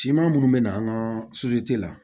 Siman munnu bɛ na an ka la